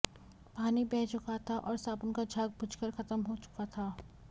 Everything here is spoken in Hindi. पानी बह चुका था और साबुन का झाग बुझकर खत्म हो चुका था